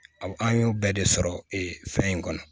Aw an y'o bɛɛ de sɔrɔ ee fɛn in kɔnɔ